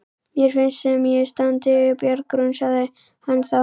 Mér finnst sem ég standi á bjargbrún, sagði hann þá.